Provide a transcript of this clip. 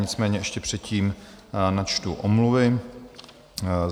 Nicméně ještě předtím načtu omluvy.